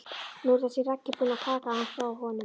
Nú er þessi Raggi búinn að taka hann frá honum.